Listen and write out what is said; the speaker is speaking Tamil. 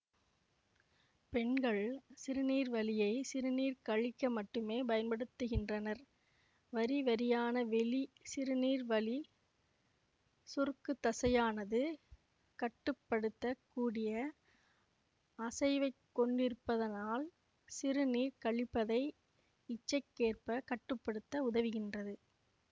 பெண்கள் சிறுநீர்வழியை சிறுநீர் கழிக்க மட்டுமே பயன்படுத்துகின்றனர் வரிவரியான வெளி சிறுநீர்வழி சுருக்குதசையானது கட்டுப்படுத்தக் கூடிய அசைவைக் கொண்டிருப்பதனால் சிறுநீர் கழிப்பதை இச்சைக்கேற்ப கட்டு படுத்த உதவுகின்றது